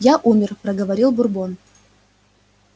я умер проговорил бурбон